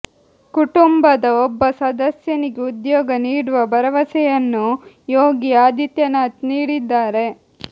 ಕುಟುಂಬದ ಒಬ್ಬ ಸದಸ್ಯನಿಗೆ ಉದ್ಯೋಗ ನೀಡುವ ಭರವಸೆಯನ್ನು ಯೋಗಿ ಆದಿತ್ಯನಾಥ್ ನೀಡಿದ್ದಾರೆ